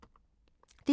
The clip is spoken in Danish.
DR1